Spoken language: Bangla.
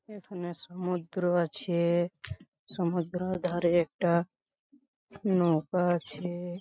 এখানে সমুদ্র আছে-এ সমুদ্র ধারে একটা নৌকা আছে-এ ।